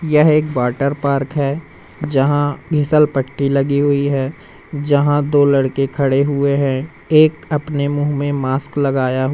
यह एक water park है जहां घीसल पट्टी लगी हुई है जहां दो लड़के खड़े हुए हैं एक अपने मुंह में मास्क लगाया हु--